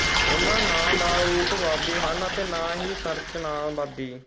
ਉਨ੍ਹਾਂ ਨਾਂ ਦਾ ਰੂਪਵਾਦੀ ਹਨ ਅਤੇ ਨਾ ਹੀ ਸੰਰਚਨਾਵਾਦੀ